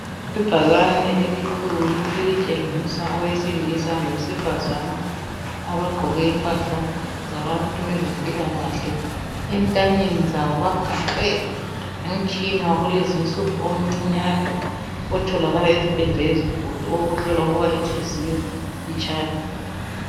Ibhakane elikhulu elitshengisa owesilisa lowesifazana abagqoke impahla zabantu bezempilakahle entanyeni zabo bagaxe umtshina wakulezinsuku omncinyane otholakala ezibhedlela ezinkulu owokuhlola ukubana ihliziyo itshaya